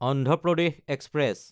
Andhra Pradesh express